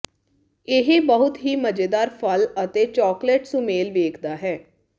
ਇਹ ਬਹੁਤ ਹੀ ਮਜ਼ੇਦਾਰ ਫਲ ਅਤੇ ਚਾਕਲੇਟ ਸੁਮੇਲ ਵੇਖਦਾ ਹੈ